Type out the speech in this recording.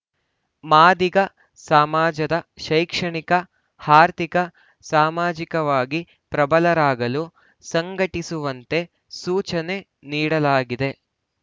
ಮಾದಿಗ ಸಮಾಜದ ಶೈಕ್ಷಣಿಕ ಆರ್ಥಿಕ ಸಾಮಾಜಿಕವಾಗಿ ಪ್ರಬಲರಾಗಲು ಸಂಘಟಿಸುವಂತೆ ಸೂಚನೆ ನೀಡಲಾಗಿದೆ